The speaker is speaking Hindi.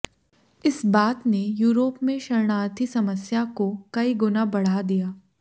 इस बात ने यूरोप में शरणार्थी समस्या को कई गुना बढ़ा दिया